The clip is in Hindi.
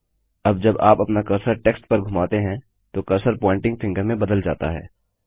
अब जब आप अपना कर्सर टेक्स्ट पर घुमाते हैं तो कर्सर प्वॉइंटिंग फिंगर में बदल जाता है